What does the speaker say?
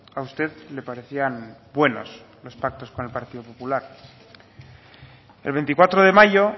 a usted le parecían buenos los pactos con el partido popular el veinticuatro de mayo